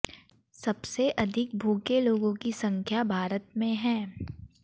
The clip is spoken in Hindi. सबसे अधिक भूखे लोगों की संख्या भारत में है